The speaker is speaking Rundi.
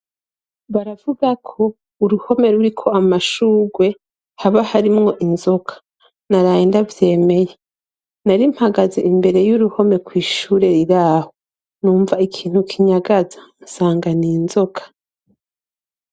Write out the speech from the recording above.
Baravuga ko uruhome ruriko amashurwe haba harimwo inzoka, naraye ndavyemeye. Nari mpagaze imbere y'uruhome kw'ishure riraho numva ikintu kinyagaza, nsanga ni inzoka.